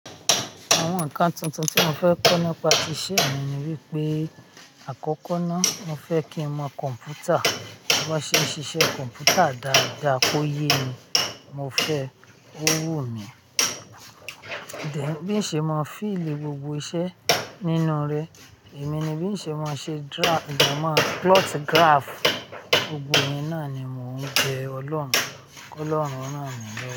Àwọn ǹkan tuntun tí mo fẹ́ kọ́ nípa tíṣẹ́ mi ni wípé àkọ́kọ́ náà mo fẹ́ kí n mọ kọ̀m̀pútà, bó ṣé ń ṣiṣẹ́ kọ̀m̀pútà dáadáa kó yé mi, mo fẹ́ ó wò mí. Bí ń ṣe mọ feel gbogbo iṣẹ́ nínú rẹ, èmi ni bí ń ṣe máa ń ṣe draft. Ìgbà máa plot graph, gbogbo ẹ̀yin náà ni mò ń be ọlọ́run, kí ọlọ́run ran mi lowo.